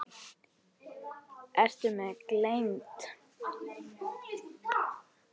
Eru mér gleymd.